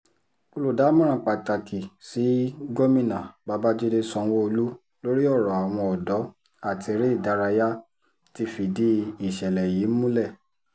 olùdámọ̀ràn pàtàkì sí gómìnà babàjídé sanwó-olu lórí ọ̀rọ̀ àwọn ọ̀dọ́ àti eré ìdárayá ti fìdí ìṣẹ̀lẹ̀ yìí múlẹ̀